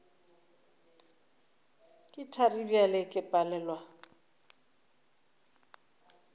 ke thari bjale ke palelwa